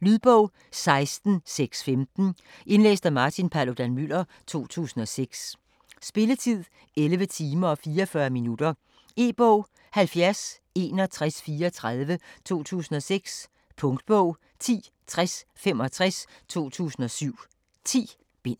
Lydbog 16615 Indlæst af Martin Paludan-Müller, 2006. Spilletid: 11 timer, 44 minutter. E-bog 706134 2006. Punktbog 106065 2007. 10 bind.